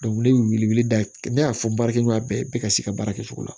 wele weleli da ne y'a fɔ baarakɛɲɔgɔn bɛɛ bɛɛ ka se ka baara kɛ cogo la